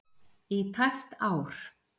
í tæpt ár.